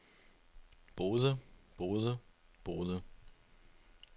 boede boede boede